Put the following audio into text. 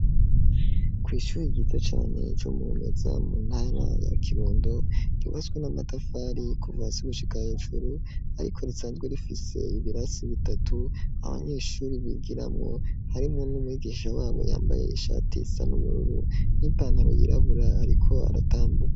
Kw'ishyure ryiza cane c'umumeza mu ntara ya kirundo ryubaswe n'amatafari kuva hasi gushika hejuru ariko risanzwe rifise ibirasi bitatu, abanyeshure bigiramwo harimwo n'umuyigisisha wabo yambaye ishati isa n'ubururu n'ipantaro yirabura ariko aratambuka.